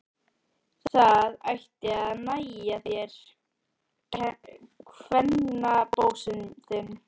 Það ætti að nægja þér, kvennabósinn þinn!